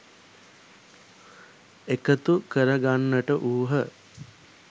එකතු කරගන්නට වූහ.